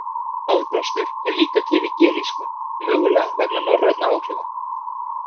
Aðblástur er líka til í gelísku, mögulega vegna norræna áhrifa.